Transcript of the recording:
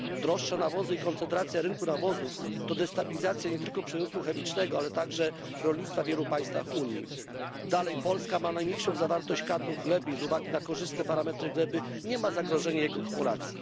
Droższe nawozy i koncentracja rynku nawozów to destabilizacja nie tylko przemysłu chemicznego, ale także rolnictwa w wielu państwach Unii. Dalej, Polska ma najmniejszą zawartość kadmu w glebie i z uwagi na korzystne parametry gleby nie ma zagrożenia jego kumulacji.